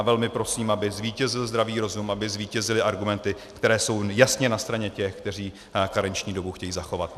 A velmi prosím, aby zvítězil zdravý rozum, aby zvítězily argumenty, které jsou jasně na straně těch, kteří karenční dobu chtějí zachovat.